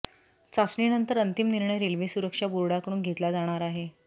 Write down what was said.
चाचणीनंतर अंतिम निर्णय रेल्वे सुरक्षा बोर्डाकडून घेतला जाणार आहे